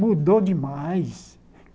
Mudou demais.